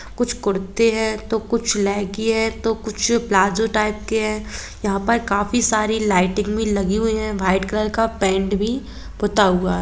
कुछ कुरते है तो कुछ लेगी हे कुछ प्लाजा टाइप के है यहा पर काफी लाइट भी लगी हुई है वाइट कलर का पेन्ट भी पुता हुआ है।